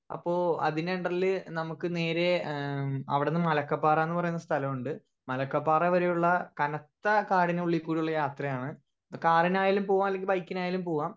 speaker 1 അപ്പൊ അതിന്റെ അണ്ടർൽ നമ്മുക്ക് നേരെ ഏഹ് അവിടന്ന് മലക്കപ്പാറാന്ന് പറയുന്ന സ്ഥലുണ്ട് മലക്കപ്പാറ വരെയുള്ള കനത്ത കാടിനുളികൂടിയുള്ള യാത്രയാണ് കാറിനായാലും പോവാ അല്ലെങ്കി ബൈക്ക് നായാലും പോവാ